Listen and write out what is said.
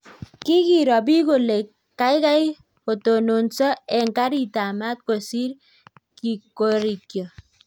Kikiroo piik kolee kaikai kotononso eng kariit ab maat kosiir korikyoo